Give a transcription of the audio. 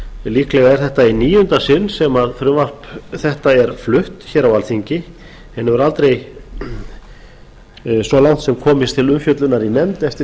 líklega er þetta í níunda sinn sem frumvarp þetta er flutt á alþingi en hefur aldrei svo langt komist til umfjöllunar í nefnd eftir